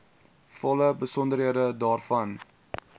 volle besonderhede daarvan